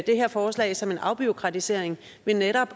det her forslag som en afbureaukratisering ved netop